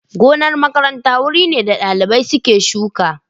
Gonar makaranta wuri ne da dalibai suke shuka.